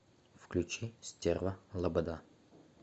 включи стерва лобода